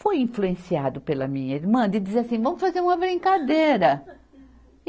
Foi influenciado pela minha irmã de dizer assim, vamos fazer uma brincadeira.